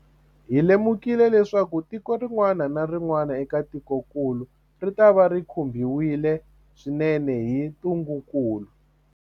Hi lemukile leswaku tiko rin'wana na rin'wana eka tikokulu ritava ri khumbiwile swinene hi ntungukulu.